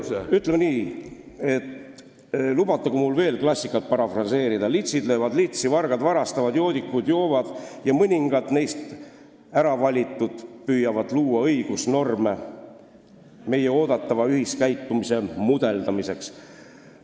Ütleme nii, et lubatagu mul veel klassikat parafraseerida: litsid löövad litsi, vargad varastavad, joodikud joovad ja mõningad neist, äravalitud, püüavad luua õigusnorme meie oodatava ühiskäitumise mudeldamiseks.